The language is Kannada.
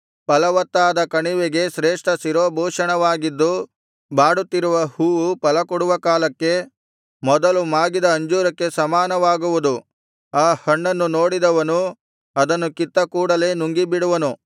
ಫಲವತ್ತಾದ ಕಣಿವೆಗೆ ಶ್ರೇಷ್ಠ ಶಿರೋಭೂಷಣವಾಗಿದ್ದು ಬಾಡುತ್ತಿರುವ ಹೂವು ಫಲಕೊಡುವ ಕಾಲಕ್ಕೆ ಮೊದಲು ಮಾಗಿದ ಅಂಜೂರಕ್ಕೆ ಸಮಾನವಾಗುವುದು ಆ ಹಣ್ಣನ್ನು ನೋಡಿದವನು ಅದನ್ನು ಕಿತ್ತ ಕೂಡಲೆ ನುಂಗಿಬಿಡುವನು